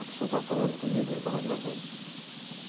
A pessoa estava falando comigo e eu estava gravando.